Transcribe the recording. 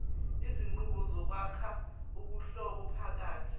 izinqubo zokwakha ubuhlobophakathi